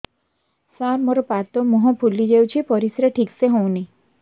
ସାର ମୋରୋ ପାଦ ମୁହଁ ଫୁଲିଯାଉଛି ପରିଶ୍ରା ଠିକ ସେ ହଉନି